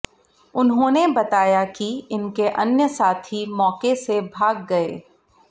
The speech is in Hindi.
उन्होंने बताया कि इनके अन्य साथी मौके से भाग गए